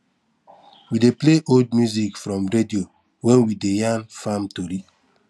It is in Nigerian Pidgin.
we dey play old music from radio when we dey yarn farm tori